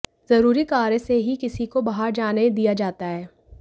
जरूरी कार्य से ही किसी को बाहर जाने दिया जाता है